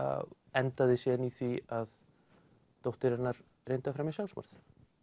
endaði síðan í því að dóttir hennar reyndi að fremja sjálfsmorð